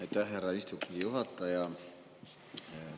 Aitäh, härra istungi juhataja!